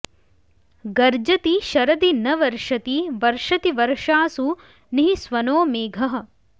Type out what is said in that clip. गर्जति शरदि न वर्षति वर्षति वर्षासु निःस्वनो मेघः